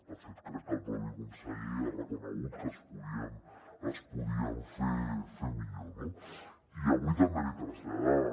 de fet jo crec que el mateix conseller ha reconegut que es podien fer millor no i avui també l’hi traslladàvem